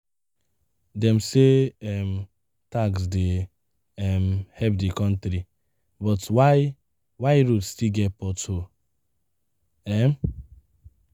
Dem say um tax dey um help the country, but why, why road still get pothole um?